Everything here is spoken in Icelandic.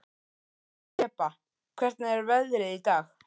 Þeba, hvernig er veðrið í dag?